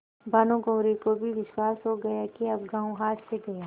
भानुकुँवरि को भी विश्वास हो गया कि अब गॉँव हाथ से गया